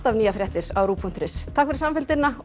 nýjar fréttir á ruv punktur is takk fyrir samfylgdina og